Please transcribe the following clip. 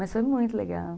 Mas foi muito legal.